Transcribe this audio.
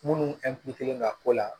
Munnu ka ko la